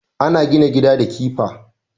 Ana gina gida da kifa